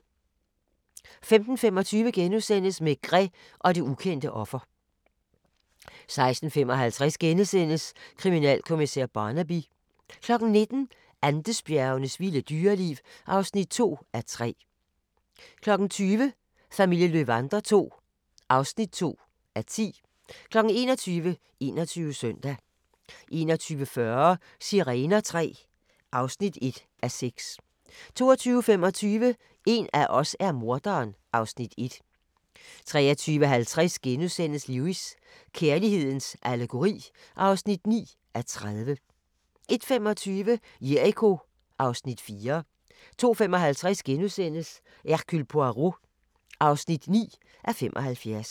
15:25: Maigret og det ukendte offer * 16:55: Kriminalkommissær Barnaby * 19:00: Andesbjergenes vilde dyreliv (2:3) 20:00: Familien Löwander II (2:10) 21:00: 21 Søndag 21:40: Sirener III (1:6) 22:25: En af os er morderen (Afs. 1) 23:50: Lewis: Kærlighedens allegori (9:30)* 01:25: Jericho (Afs. 4) 02:55: Hercule Poirot (9:75)*